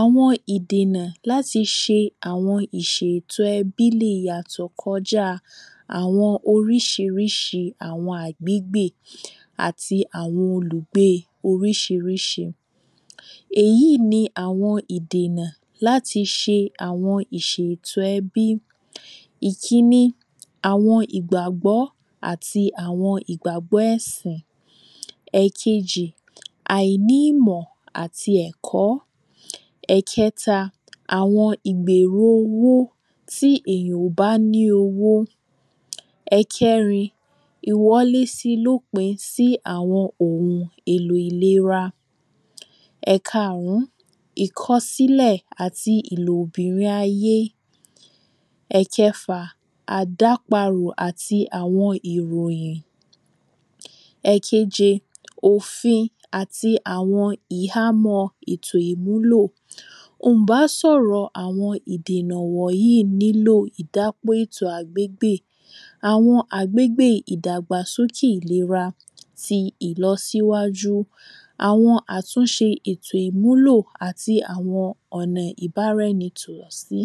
Àwọn ìdènà láti ṣe àwọn ìṣètò ẹbí le yàtò kọ já àwọn oríṣirìṣi àwọn àgbégbè àti àwọn olùgbé oríṣiríṣi Èyí ni àwọn ìdènà láti ṣe àwọn ìṣètò ẹbí Ìkínní àwọn ìgbàgbọ́ àti àwọn ìgbàgbọ́ ẹ̀sìn Ẹ̀kejì àìní ìmọ̀ àti ẹ̀kọ́ Ẹ̀kẹtà àwọn ìgbèrò owó tí èèyàn ò bá ní owó Èkẹrin ìwọlé sí i lópin sí àwọn ohun èlò ìlera Ẹ̀kaàrún ìkọsílẹ̀ àti ìlò obìnrin ayé Ẹ̀kẹfà àdáparù àti àwọn ìròyìn Ẹ̀keje òfin àti àwọn ìhámọ́ ètò ìmúlò Ǹ bá sọ̀rọ̀ àwọn ìdènà wọ̀nyìí ní lò ìdápè ètò àgbégbè Àwọn àgbégbè ìdàgbàsókè ìlera tí ìlọsíwájú àwọn àtúnṣe ètò ìmúlò àti àwọn ọ̀nà ìbáraẹni tùwọ̀ sí